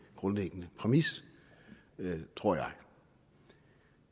grundlæggende præmis tror jeg